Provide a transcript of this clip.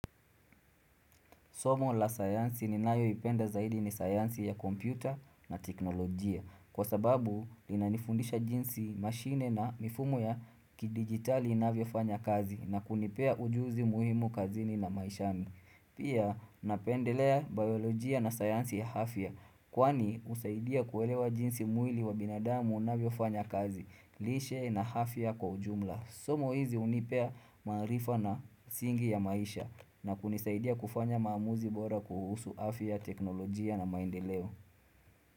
Somo la sayansi ni nayoipenda zaidi ni sayansi ya kompyuta na teknolojia Kwa sababu linanifundisha jinsi mashine na mifumo ya kidigitali inavyofanya kazi na kunipea ujuzi muhimu kazini na maishani Pia napendelea biolojia na sayansi ya afya Kwani husaidia kuelewa jinsi mwili wa binadamu unavyofanya kazi, lishe na afya kwa ujumla. Somo hizi hunipea maarifa na msingi ya maisha na kunisaidia kufanya maamuzi bora kuhusu afya teknolojia na maendeleo.